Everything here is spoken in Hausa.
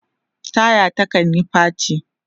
taya ta kanyi faci